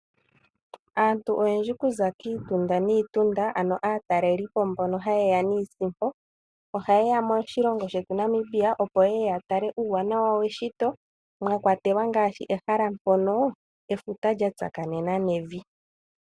Aantu oyendji okuza kiitunda niitunda ano aataleli po mbono haye ya niisimpo, ohaye ya moshilongo shetu Namibia, opo yeye ya tale uuwanawa weshito, mwa kwatelwa ngaashi ehala mpono efuta lya tsakanena nevi.